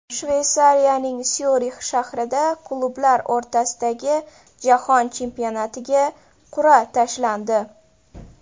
Shveysariyaning Syurix shahrida klublar o‘rtasidagi Jahon chempionatiga qur’a tashlandi.